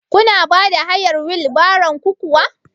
Kuna bada hayar wil baron ku kuwa?